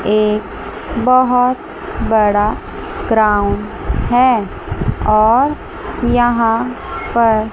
एक बहोत बड़ा ग्राउंड है और यहां पर--